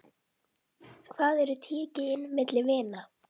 Hvað eru tíu gin milli vina.